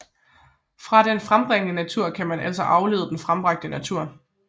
Fra den frembringende natur kan man altså aflede den frembragte natur